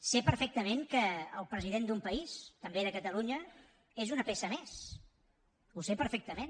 sé perfectament que el president d’un país també de catalunya és una peça més ho sé perfectament